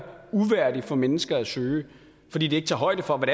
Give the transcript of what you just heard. uværdig for mennesker at søge fordi den ikke tager højde for hvad